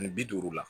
Ani bi duuru la